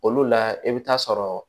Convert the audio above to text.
Olu la i bɛ taa sɔrɔ